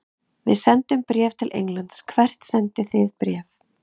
Við sendum bréf til Englands. Hvert sendið þið bréf?